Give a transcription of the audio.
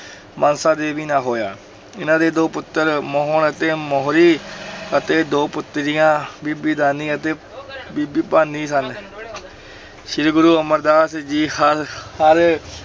ਮਨਸਾ ਦੇਵੀ ਨਾਲ ਹੋਇਆ, ਇਹਨਾਂ ਦੇ ਦੋ ਪੁੱਤਰ ਮੋਹਣ ਅਤੇ ਮੋਹਰੀ ਅਤੇ ਦੋ ਪੁੱਤਰੀਆਂ ਬੀਬੀ ਦਾਨੀ ਅਤੇ ਬੀਬੀ ਭਾਨੀ ਸਨ ਸ੍ਰੀ ਗੁਰੂ ਅਮਰਦਾਸ ਜੀ ਹਰ ਹਰ